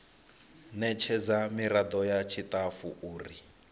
ṋetshedzwa miraḓo ya tshiṱafu uri